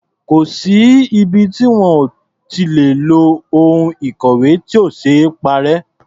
Kò sí ibi tí wọn ò lè ti lo ohun ìkọ̀wé tí ò ṣee parẹ́.